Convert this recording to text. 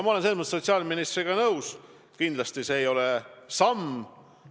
Ma olen selles mõttes sotsiaalministriga nõus, et kindlasti see ei ole pikk samm edasi.